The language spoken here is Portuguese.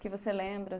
Que você lembra